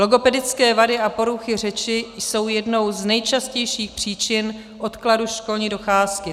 Logopedické vady a poruchy řečí jsou jednou z nejčastějších příčin odkladu školní docházky.